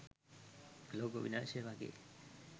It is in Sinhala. ලෝක විනාශය වගේ